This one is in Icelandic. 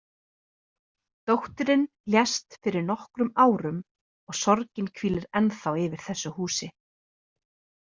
Dóttirin lést fyrir nokkrum árum og sorgin hvílir ennþá yfir þessu húsi.